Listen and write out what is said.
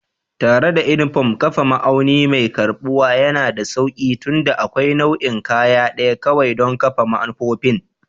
Tare da unifom, kafa ma'auni mai karɓuwa yana da sauƙi tunda akwai nau'in kaya ɗaya kawai don kafa manufofin